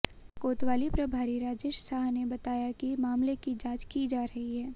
कोतवाली प्रभारी राजेश साह ने बताया कि मामले की जांच की जा रही है